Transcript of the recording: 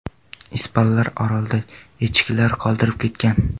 Ispanlar orolda echkilar qoldirib ketgan.